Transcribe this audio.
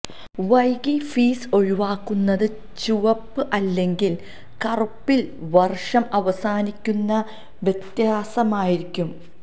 വൈകി ഫീസ് ഒഴിവാക്കുന്നത് ചുവപ്പ് അല്ലെങ്കിൽ കറുപ്പിൽ വർഷം അവസാനിക്കുന്ന വ്യത്യാസമായിരിക്കും